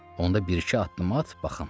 Onda bir-iki addım at, baxım.